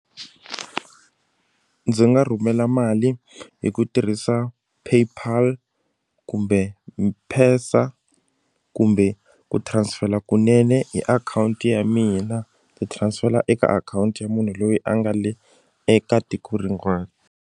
Ndzi nga rhumela mali hi ku tirhisa paypal kumbe kumbe ku transfer kunene hi akhawunti ya mina ni transfer eka akhawunti ya munhu loyi a nga le eka tiko rin'wana.